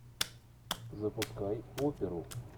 запускай оперу